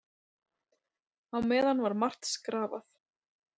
Á meðan var margt skrafað.